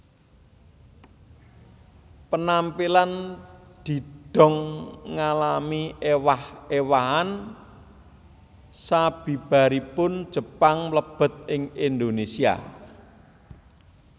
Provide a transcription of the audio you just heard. Penampilan didong ngalami ewah ewahan sabibaripun Jepang mlebet ing Indonesia